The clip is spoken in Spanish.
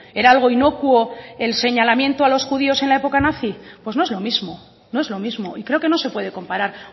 era algo inocuo el señalamiento a los judíos en la época nazi pues no es lo mismo no es lo mismo y creo que no se puede comparar